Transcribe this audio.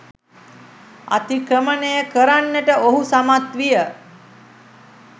අතික්‍රමණය කරන්නට ඔහු සමත් විය